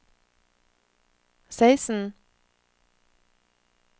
seksten